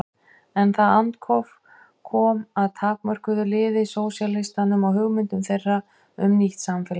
En það andóf kom að takmörkuðu liði sósíalistum og hugmyndum þeirra um nýtt samfélag.